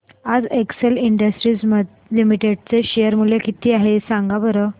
आज Excel Industries Limited चे share चे मूल्य किती आहे सांगा बरं